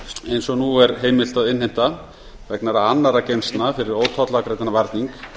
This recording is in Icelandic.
eins og nú er heimilt að innheimta vegna annarra geymslna fyrir ótollafgreiddan varning